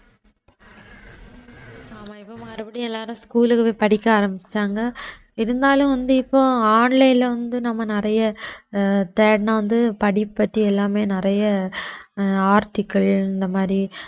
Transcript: ஆமா இப்ப மறுபடியும் எல்லாரும் school க்கு போய் படிக்க ஆரம்பிச்சுட்டாங்க இருந்தாலும் வந்து இப்போ online ல வந்து நம்ம நிறைய அஹ் தேடுனா வந்து படிப்பு பத்தி எல்லாமே நிறைய அஹ் article இந்த மாதிரி